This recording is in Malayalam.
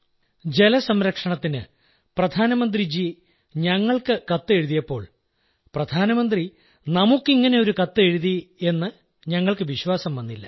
ജലംസംരക്ഷണത്തിന് പ്രധാനമന്ത്രി ജി ഞങ്ങൾക്ക് കത്തെഴുതിയപ്പോൾ പ്രധാനമന്ത്രി നമുക്ക് ഇങ്ങനെയൊരു കത്തെഴുതിയെന്നു ഞങ്ങൾക്ക് വിശ്വാസം വന്നില്ല